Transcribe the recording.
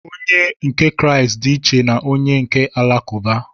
Onye nke Kraịst dị iche na onye nke Alakụba.